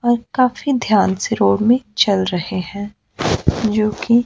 और काफी ध्यान से रोड में चल रहे हैं जो कि--